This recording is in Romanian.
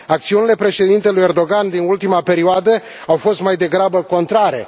Acțiunile președintelui Erdogan din ultima perioadă au fost mai degrabă contrare.